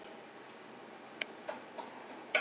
Aldrei gæsku þinni ég gleymi.